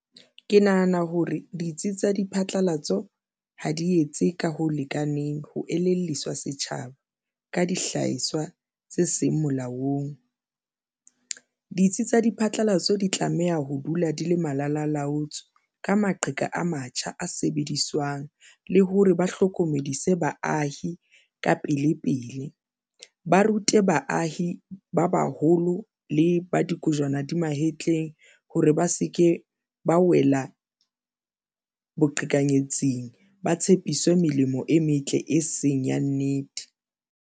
Ke nahana hore ditsi tsa diphatlalatso ha di etse ka ho lekaneng ho elelliswa setjhaba ka dihlahiswa tse seng molaong. Ditsi tsa diphatlalatso di tlameha ho dula di le malalalaotswe ka maqheka a matjha a sebediswang le hore ba hlokomedise baahi ka pele pele ba rute baahi ba baholo le ba dikojwana di mahetleng hore ba se ke ba wela boqhekanyetsing ba tshepiswe melemo e metle, e seng ya nnete.